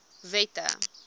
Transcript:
wette